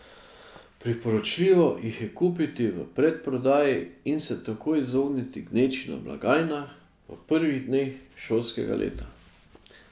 Priporočljivo jih je kupiti v predprodaji in se tako izogniti gneči na blagajnah v prvih dneh šolskega leta.